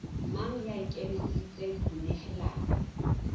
mang ya ikemiseditseng ho nehelana